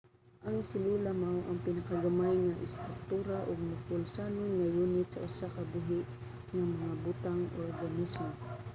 ang selula mao ang pinakagamay nga istruktura ug mapulsanon nga yunit sa usa ka buhi nga mga butang organismo